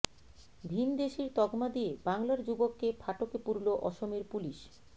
ভিনদেশীর তকমা দিয়ে বাংলার যুবককে ফাটকে পুরল অসমের পুলিশ